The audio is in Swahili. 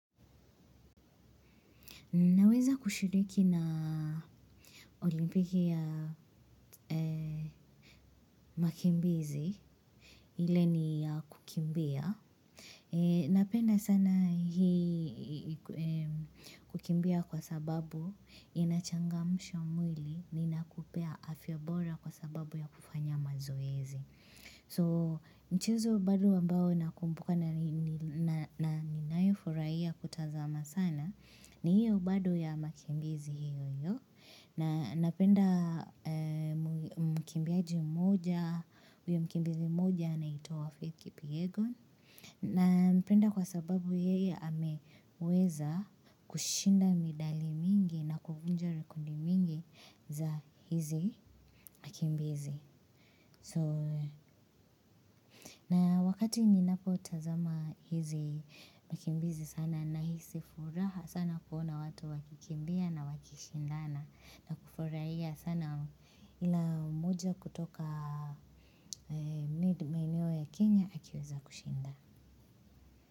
Naweza kushiriki na, olimpiki ya makimbizi ile ni ya kukimbia. Napenda sana hii kukimbia kwa sababu inachangamsha mwili inakupea afya bora kwa sababu ya kufanya mazoezi. So, mchezo bado ambao nakumbuka na ninayofurahia kutazama sana ni hio bado ya makimbizi hiyo hiyo. Na napenda mkimbiaji mmoja, huyo mkimbizi mmoja anaitwa Faith Kipyegon. Nampenda kwa sababu yeye ameweza kushinda medali mingi na kuvunja rekodi mingi za hizi makimbizi. So, na wakati ninapo tazama hizi makimbizi sana na hisi furaha sana kuona watu wakikimbia na wakishindana. Na kufurahia sana ila mmoja kutoka mid maeneo ya Kenya akiweza kushinda.